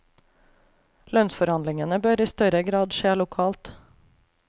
Lønnsforandlingene bør i større grad skje lokalt.